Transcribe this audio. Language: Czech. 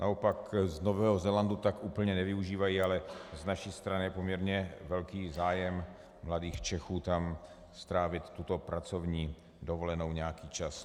Naopak z Nového Zélandu tak úplně nevyužívají, ale z naší strany je poměrně velký zájem mladých Čechů tam strávit tuto pracovní dovolenou nějaký čas.